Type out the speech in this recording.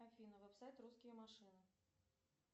афина вебсайт русские машины